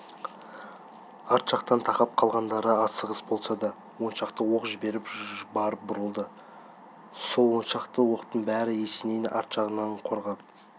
арт жақтан тақап қалғандары асығыс болса да он шақты оқ жіберіп барып бұрылды сол он шақты оқтың бірі есенейді арт жағынан қорғап